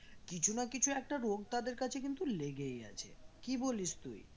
কিছু না কিছু একটা রোগ তাদের কাছে কিন্তু লেগেই আছে কি বলিস তুই?